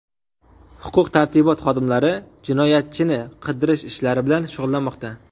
Huquq-tartibot xodimlari jinoyatchini qidirish ishlari bilan shug‘ullanmoqda.